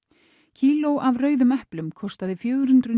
kíló af rauðum eplum kostaði fjögur hundruð